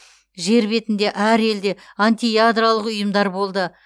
жер бетінде әр елде антиядролық ұйымдар болды